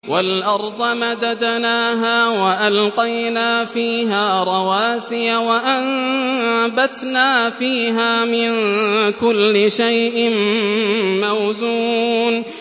وَالْأَرْضَ مَدَدْنَاهَا وَأَلْقَيْنَا فِيهَا رَوَاسِيَ وَأَنبَتْنَا فِيهَا مِن كُلِّ شَيْءٍ مَّوْزُونٍ